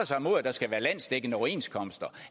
sig mod at der skal være landsdækkende overenskomster